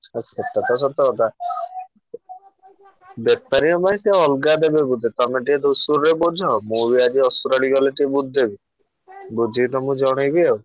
ଆଉ ସେଟା ତ ସତ କଥା। ବେପାରୀଙ୍କ ପାଇଁ ସେ ଅଲଗା ଦେବେ ବୋଧେ ତମେ ଟିକେ ଧୂସୁରୀରେ ବୁଝ। ମୁଁ ବି ଆଜି ଅସୁରାଳି ଗଲେ ଟିକେ ବୁଝିଦେବି। ବୁଝିକି ତମୁକୁ ଜଣେଇବି ଆଉ।